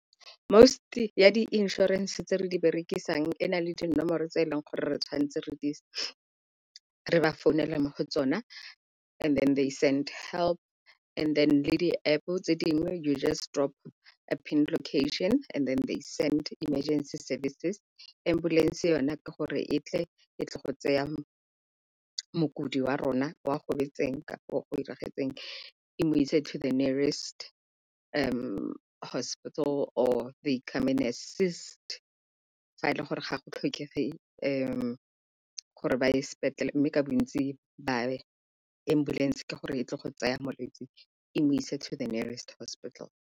Most-e ya di-insurance tse re di berekisang e na le dinomoro tse e leng gore re tshwanetse re ba founele mo go tsona, and then they send help and then le di-App tse dingwe you just drop a pin location and then they send emergency services. Ambulance yone ke gore e tle e tle go tseya mokudi wa rona o a gobetseng kapa o e mo ise to the nearest hospital or they come and assist fa e le gore ga go tlhokege gore ba ye sepetlele, mme ka bontsi ba ya. Ambulance ke gore e tle go tsaya molwetsi e mo ise to the nearest hospital.